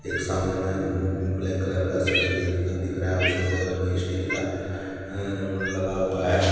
एक सामने में ब ब्लैक कलर का सीढ़ी दिख दिख रहा है। उसके बगल में इस्टील का अ लगा हुआ है।